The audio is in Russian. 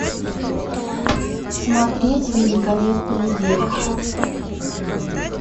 смотреть великолепный век